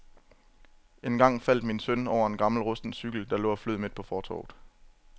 Engang faldt min søn over en gammel rusten cykel, der lå og flød midt på fortovet.